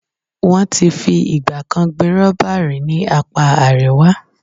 Wọ́n ti fi ìgbà kan gbin rọ́bà rí ní apá Àríwá.